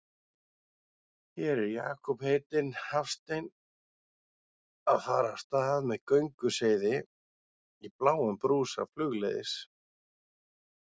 Hér er Jakob heitinn Hafstein að fara af stað með gönguseiði í bláum brúsa flugleiðis.